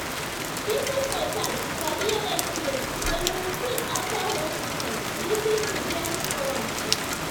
people for town sabi rate care dem receive after hospital visit to gain from am.